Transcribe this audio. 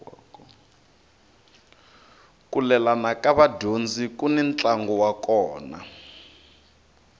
ku lelana ka vadyondzi kuni ntlangu wa kona